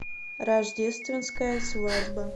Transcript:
рождественская свадьба